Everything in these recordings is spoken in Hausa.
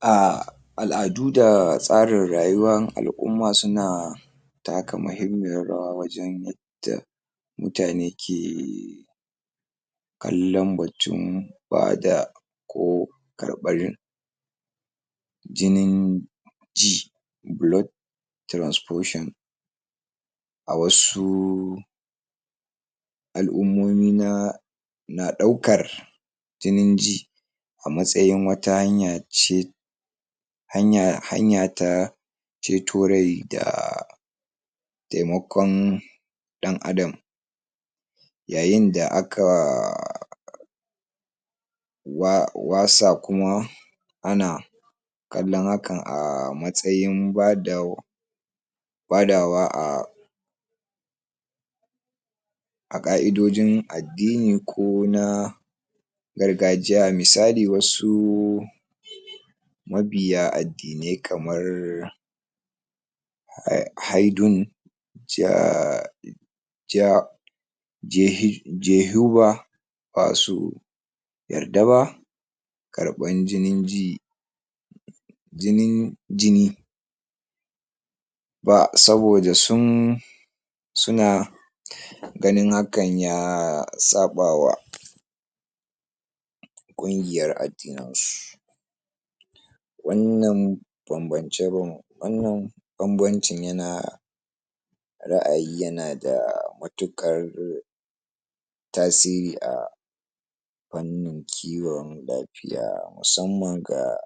a al'adu da tsarin rayuwar al'umman suna taka mahimmiyan rawa wajen yadda mutane ke kallan batun bada ko karɓan jini ji blood transfusion. A wasu al'ummomi ana ɗaukar jini ji a matsayin wata hanya ce, hanya ta ceto rai da taimakawan ɗan adam yayin da a wasu kuma ana kallon hakan a matsayin ba za a badawa ba a ƙa'idojin addini ko na gargajiya. Misali wasu mabiya addinai kamar um ja basu yarda ba karɓan jinin ji, jinin jini ba saboda suna ganin hakan ya saɓawa ƙungiyar addininsu. Wannan babbance-ban wannan babbancin ra'ayi yana da matuƙar tasiri a wannan fannin lafiya musamman ga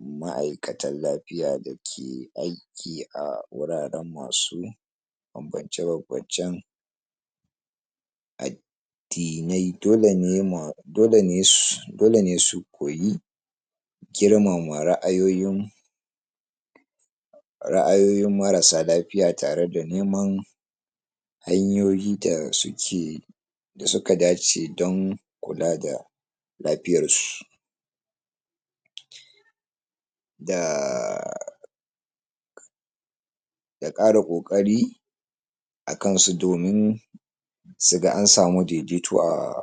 ma'aikatan lafiya dake aiki a guraren masu babbance-babbancen addinai. Dole ne, ma dole ne su koyi girmama ra'ayoyin marasa lafiya tare da neman hanyoyi da suke, da suka dace don kula da lafiyansu da ƙara ƙoƙari a kansu domin su ga an samu daidaito a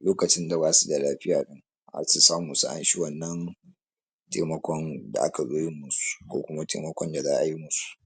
lokacin da basu da lafiya su samu su a sami wannan taimakon da aka zo yin musu ko kuma taimakon da za a yi musu.